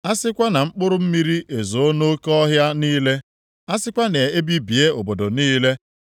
A sikwa na mkpụrụ mmiri ezoo nʼoke ọhịa niile, a sikwa na e bibie obodo niile,